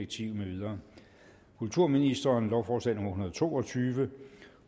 tyve kulturministeren lovforslag nummer hundrede og to og tyve